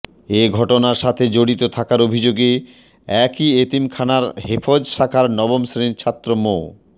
এ ঘটনার সাথে জড়িত থাকার অভিযোগে একই এতিমখানার হেফজ শাখার নবম শ্রেণির ছাত্র মো